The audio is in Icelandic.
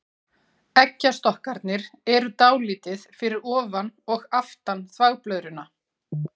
Eggjastokkarnir eru dálítið fyrir ofan og aftan þvagblöðruna.